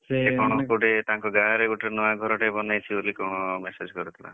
ସେ କଣ ଗୋଟେ ତାଙ୍କ ଗାଁରେ ଗୋଟେ ନୂଆ ଘରଟେ ବନେଇଛି ବୋଲି କଣ message କରିଥିଲା।